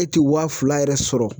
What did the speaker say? E te wa fila yɛrɛ sɔrɔ